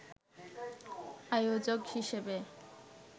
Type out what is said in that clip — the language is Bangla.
আয়োজক হিসেবে